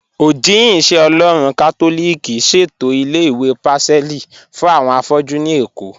Ojihìn-ìṣẹ-Ọlọ́run Katolíkì ṣẹ̀tọ ilẹ̀-ìwé Pacelli fún awọn afọ̀jú ní Ékó